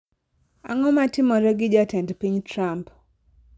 ang'o matimore gi jatend piny Trump